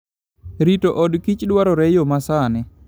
Rito odkich dwarore yo masani.